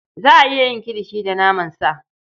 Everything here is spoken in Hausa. Za a iya yin kilishi da naman sa.